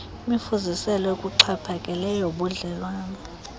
imifuziselo ekuxhaphakeleyo yobudlelwane